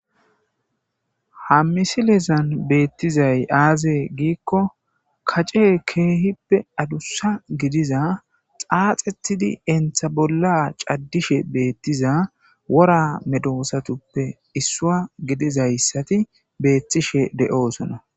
Ha misilezan betizay aze gidikko kacey kehipe adusa gidiza xaxetidi eta bolla cadishe betiza wora medosatuppe Issuwa gidizaysati betishe de'eosona